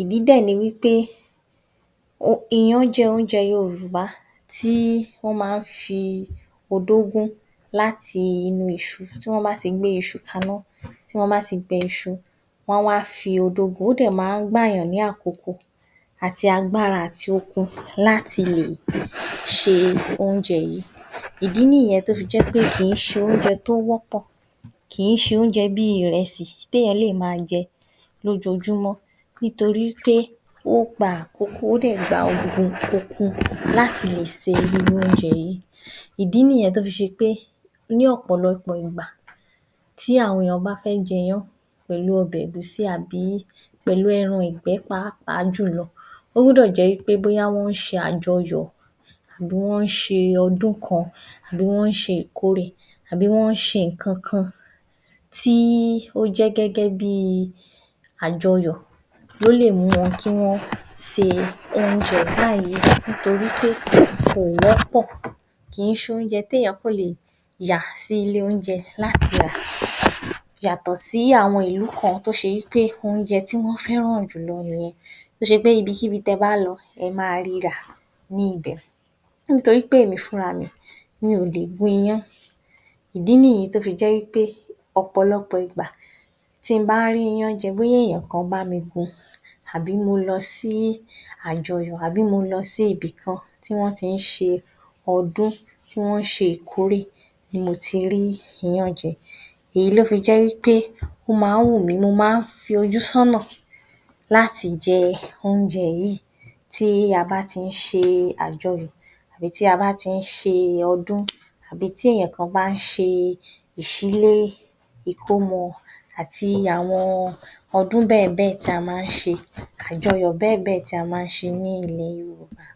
ìdí dẹ̀ ni wí pé iyán jẹ́ oúnjẹ Yorùbá tí wọ́n máa ń fi odó gún láti inú iṣu, tí wọ́n bá ti gbé iṣu kaná tí wọ́n bá ti bẹ iṣu wọ́n á wá fi odó gun, ó dẹ̀ máa ń gba èèyàn ní àkókò àti agbára àti okun láti lè ṣe oúnjẹ yìí, ìdí nìyẹn kì í ṣe oúnjẹ tó wọ́pọ̀ kì í ṣe oúnjẹ bí i ìrẹsì tí èèyàn lè má a jẹ lójoójúmọ́ nítorí pé ó gba àkókò ó dẹ̀ gba okun okun láti lè se irú oúnjẹ yìí, ìdí nìyẹn tó fi ṣe pé ní ọ̀pọ̀lọpọ̀ ìgbà tí àwọn èèyàn bá fẹ́ jẹ iyán pẹ̀lú ọbẹ̀ ẹ̀gúsí pẹ̀lú ẹran ìgbẹ́ pàápàá jù lọ ó gbọ́dọ̀ jẹ́ wí pé bóyá wọ́n ń ṣe àjọyọ̀, wọ́n ń ṣe ọdún kan àbí wọ́n ń ṣe ìkórè àbí wọ́n ń ṣe àjọyọ̀ ló lè mú wọn ṣe oúnjẹ báyìí nítorí pé kò wọ́pọ̀ kì í ṣe oúnjẹ tí èèyàn kàn lè yà sí ilé oúnjẹ láti rà yàtọ̀ sí àwọn ìlú kan tó ṣe pé oúnjẹ tí wọ́n fẹ́ràn nìyẹn to jẹ́ wí pé ibikíbi tí ẹ bá lọ ẹ máa ri rà nítorí pé èmi gan-an fúnra mi mi ò lè gún iyán ìdí nìyẹn tí mo bá rí iyán jẹ bóyá èèyàn kan bá mi gun àbí mo lọ sí àjọyọ̀ àbí mo lọ sí ibikàn tí wọ́n ti lọ ṣe ọdún tí wọ́n ń ṣe ìkórè ni mo ti rí iyán jẹ́ èyí ló fi jẹ́ wí pé mo máa ń fojú sọ́nà láti jẹ oúnjẹ yìí tí a bá ti ń ṣe àjọyọ̀ àbí ta bá ti ń ṣe ọdún, tàbí tí ènìyàn bá ṣe ìṣílé, ìkọ́mọ àti àwọn ọdún bẹ́ẹ̀ bẹ́ẹ̀ ta máa ń ṣe, àwọn àjọyọ̀ bẹ́ẹ̀ bẹ́ẹ̀ ta máa ń ṣe nílẹ̀ Yorùbá.